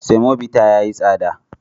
Semobita ya yi tsada.